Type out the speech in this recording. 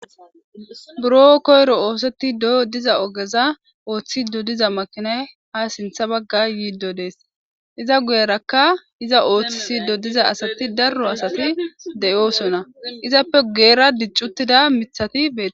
buro koyro ooseti doyo diza ogeza ooththi dodiza makinay ha sintha bagga yiido dees iza guyerakka iza ooththisi dodiza asati darro asati de7oosonna izappe geera diccuttida mithati beee